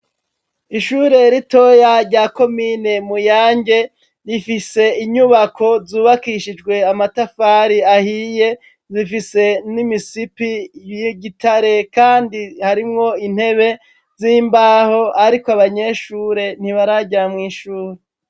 Ishure ritoya rya komine Muyange rifise inyubako zubakishijwe amatafari ahiye, zifise n'imisipi y'igitare kandi harimwo intebe z'imbaho ariko abanyeshure ntibaraja mw' ishuri.